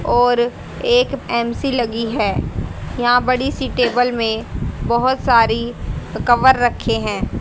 और एक एम_सी लगी है यहां बड़ी सी टेबल में बहोत सारी कवर रखे हैं।